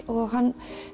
og hann